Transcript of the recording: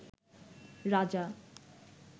রাজা